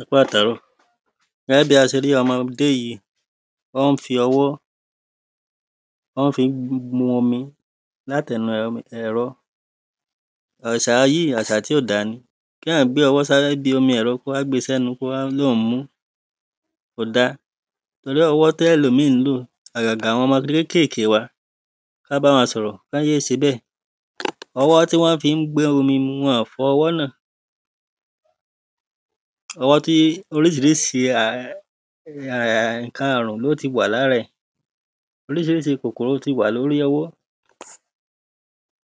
ẹ kú àtàáró gẹ́gẹ́ bí a ṣe rí ọmọdé yí ó ń fi ọwọ́ ó ń fi ń mu omi láti ẹnu ẹ̀rọ àṣà yí àṣà tí ò da ni kéyàn gbọ́wọ́ síbi omi ẹ̀rọ kó wá gbe sẹ́nú kó wá lóùn-un mú kò da pẹ̀lú owọ́ tẹ́lòmí ń lò àgàgà àwọn ọmọ kékèké wa kọ́n bá wọn sọ̀rọ̀ kọ́n yé ṣe bẹ́ẹ̀ ọwọ́ tí wọ́n fi ń gbé omi mu wọn ò fọ ọwọ́ náà ọwọ́ tí oríṣiríṣi ǹkan àrùn ló ti wà lára ẹ̀ oríṣiríṣi kòkòrò ti wà lórí ọwọ́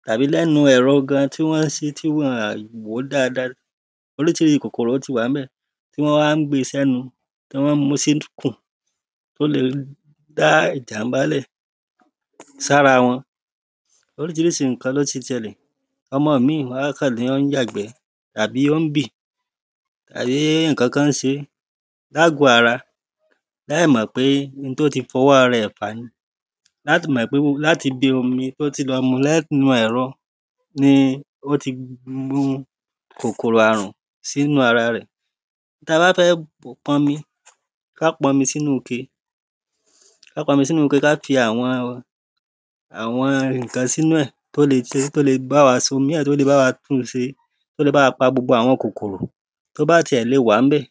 tàbí lẹ́nu ẹ̀rọ gan tí wọ́n ṣí tí wọ́n wò daada oríṣi kòkòrò ti wà ń bẹ̀ wọ́n á ń gbe sẹ́nu ni wọ́n mú sí kùn ó le dá ìjàḿbà lẹ̀ sára wọn oríṣiríṣi ǹkan ló ti ṣẹlẹ̀ ọmọ mí má kàn lọ ń yàgbẹ́ àbí ó ń bì àbí ǹkankan ń se lágọ̀ ara láì mọ̀ pé n tó ti fọwọ́ ara ẹ̀ fà ni láti mọ̀ pé láti ibi omi tó ti lọ mu lẹ́nu ẹ̀rọ ni ó ti mu kòkòrò àrùn sínú ara rẹ̀ ta bá fẹ́ pọn mi ká pọn mi sínu ke ká fi àwọn ǹkan sínú ẹ̀ tó le bá wa tún se tó le bá wa pa gbogbo àwọn kòkòrò tó bá ti ẹ̀ le wà ń bẹ̀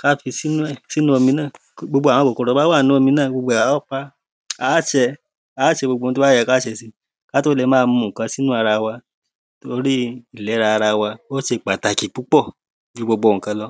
ká fi sínú ẹ̀ sínú omi náà gbogbo àwọn kòkòrò tó bá wà nínú omi náà gbogbo a ó pa á ṣe á ṣe gbogbo ohun tó bá yé ká ṣe si ká tó le má mu ǹkan sínú ara wa tori ìlera ara wa ó ṣe pàtàkì púpọ̀ ju gbogbo ǹkan lọ